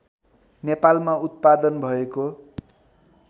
नेपालमा उत्पादन भएको